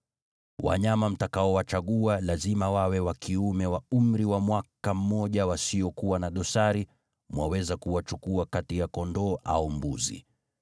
Wanyama mtakaowachagua, lazima wawe wa kiume wa umri wa mwaka mmoja wasiokuwa na dosari, mwaweza kuwachukua kati ya kondoo au mbuzi.